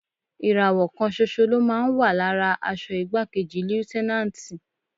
Ìràwọ̀ kan ṣoṣo ló máa ń wà lára aṣọ igbákejì Lútẹ́náǹtì.